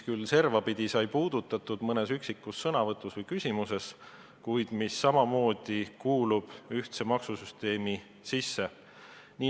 Servapidi seda mõnes üksikus sõnavõtus või küsimuses puudutati, kuid needki maksud kuuluvad ühtsesse maksusüsteemi.